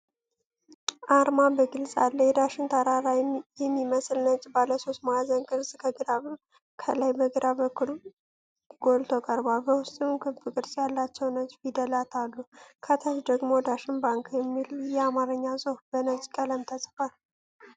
አርማ በግልጽ አለ። የዳሸን ተራራ የሚመስል ነጭ ባለሶስት ማዕዘን ቅርጽ ከላይ በግራ በኩል ጎልቶ ቀርቧል። በውስጡም ክብ ቅርጽ ያላቸው ነጭ ፊደላት አሉ። ከታች ደግሞ "ዳሽን ባንክ" የሚል የአማርኛ ጽሑፍ በነጭ ቀለም ተጽፏል።